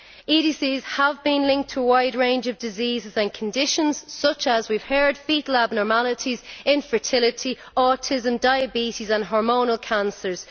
EDCs have been linked to a wide range of diseases and conditions such as as we have heard foetal abnormalities, infertility, autism, diabetes and hormonal cancers.